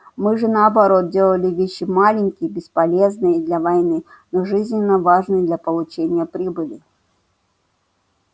мы же наоборот делали вещи маленькие бесполезные для войны но жизненно важные для получения прибыли